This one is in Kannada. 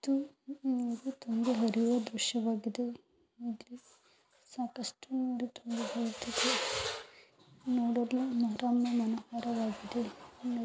ಇದು ನಮಗೆ ತುಂಬಾ ವಿಡಿಯೋ ದೃಶ್ಯವಾಗಿದೆ. ಮತ್ತೆ ಸಾಕಷ್ಟು ನೋಡಲು ವಾಗಿದೆ.